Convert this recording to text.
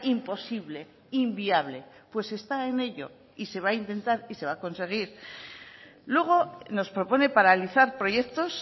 imposible inviable pues está en ello y se va a intentar y se va a conseguir luego nos propone paralizar proyectos